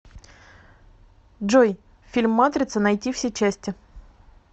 джой фильм матрица найти все части